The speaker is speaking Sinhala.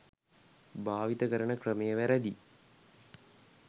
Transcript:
භාවිත කරන ක්‍රමය වැරදි